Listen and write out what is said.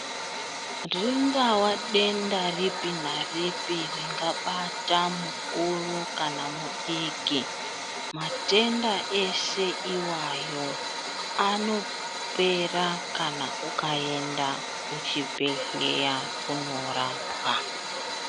Ringava denda ripi naripi ringa bata mukuru kana mudiki matenda eshe iwayo ano pera kana ukaenda ku chibhedhleya kuno rapwa.